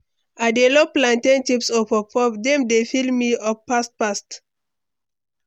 I dey love plantain chips or puff-puff, dem dey fill me up fast fast.